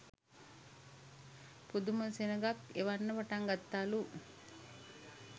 පුදුම සෙනගක් එන්න පටන්ගත්තලු.